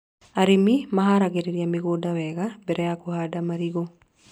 Arĩmi maharagĩrĩria mĩgũnda wega mbere ya kũhanda marigũ